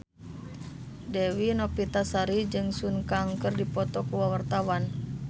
Dewi Novitasari jeung Sun Kang keur dipoto ku wartawan